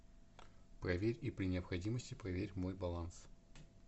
проверь и при необходимости проверь мой баланс